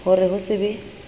ho re ho se be